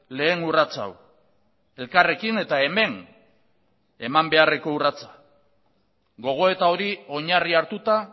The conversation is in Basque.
lehen urratsa hau elkarrekin eta hemen eman beharreko urratsa gogoeta hori oinarri hartuta